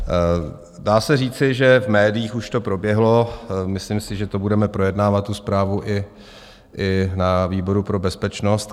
Dá se říci, že v médiích už to proběhlo, myslím si, že to budeme projednávat, tu zprávu, i na výboru pro bezpečnost.